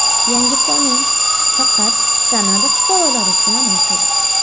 Yangi qonun faqat Kanada fuqarolari uchun amal qiladi.